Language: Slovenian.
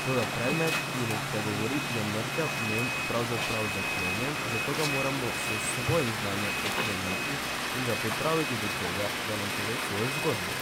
Toda predmet, ki ne spregovori, je mrtev, nem, pravzaprav zaklenjen, zato ga moramo s svojim znanjem odkleniti in ga pripraviti do tega, da nam pove svojo zgodbo.